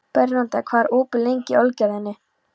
Bernódía, hvað er opið lengi í Ölgerðinni?